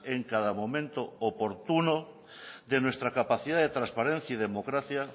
en cada momento oportuno de nuestra capacidad de transparencia y democracia